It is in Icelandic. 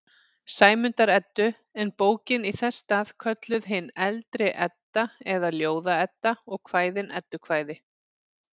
Sæmundar-Eddu, en bókin í þess stað kölluð hin eldri Edda eða Ljóða-Edda og kvæðin eddukvæði.